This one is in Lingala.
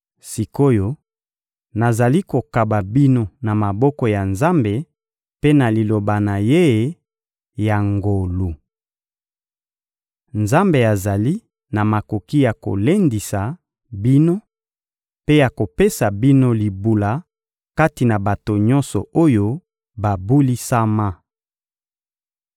Sik’oyo, nazali kokaba bino na maboko ya Nzambe mpe na Liloba na Ye ya ngolu. Nzambe azali na makoki ya kolendisa bino mpe ya kopesa bino libula kati na bato nyonso oyo babulisama.